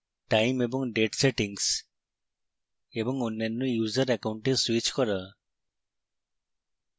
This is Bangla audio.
time এবং date সেটিংস এবং অন্যান্য user অ্যাকাউন্টে স্যুইচ করা